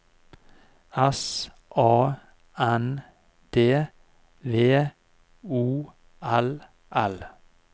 S A N D V O L L